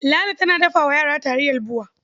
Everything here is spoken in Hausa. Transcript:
Ladi tana dafa wa yara taliyar BUA.